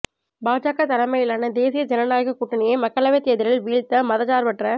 பாஜக தலைமையிலான தேசிய ஜனநாயக கூட்டணியை மக்களவைத் தேர்தலில் வீழ்த்த மதச்சார்பற்ற